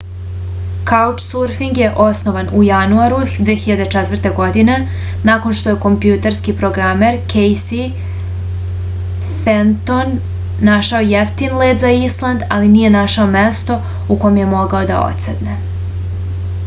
kaučsurfing je osnovan u januaru 2004. godine nakon što je kompjuterski programer kejsi fenton našao jeftin let za island ali nije našao mesto u kom je mogao da odsedne